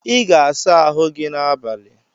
I ga-asa ahụ gi n’abalị